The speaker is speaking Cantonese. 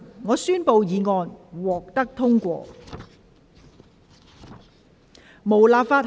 我宣布議案獲得通過。